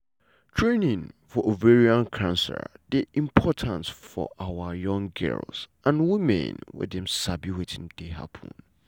training for ovarian cancer dey important for awa young girls and women make dem sabi wetin dey happun.